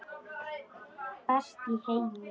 Best í heimi.